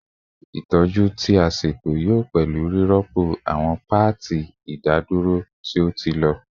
Itọju ti a ṣeto yoo pẹlu rirọpo awọn paati idadoro ti o ti lọ